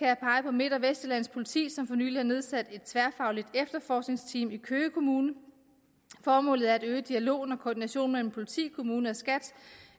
midt og vestsjællands politi som for nylig har nedsat et tværfagligt efterforskningsteam i køge kommune formålet er at øge dialogen og koordinationen mellem politi kommune og skat